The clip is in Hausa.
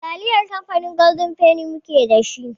Taliyar kamfanin golden feni kaɗai mu ke dashi.